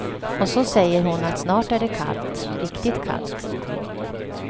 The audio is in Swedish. Och så säger hon att snart är det kallt, riktigt kallt.